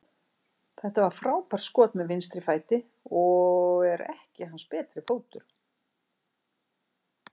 Þetta var frábært skot með vinstri fæti, sem er ekki hans betri fótur.